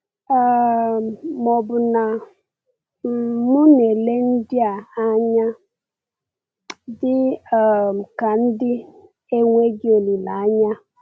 um Ma ọ̀ bụ na um m na-ele ndị a anya dị um ka ndị enweghị olileanya?